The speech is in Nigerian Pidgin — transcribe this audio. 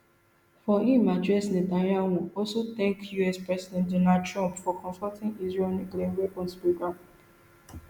for im address netanyahu also tank us president donald trump for confronting israel nuclear weapons programme